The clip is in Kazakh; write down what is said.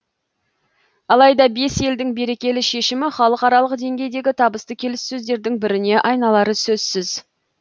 алайда бес елдің берекелі шешімі халықаралық деңгейдегі табысты келіссөздердің біріне айналары сөзсіз